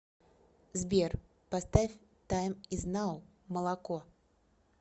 сбер поставь тайм из нау молоко